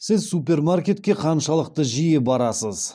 сіз супермаркетке қаншалықты жиі барасыз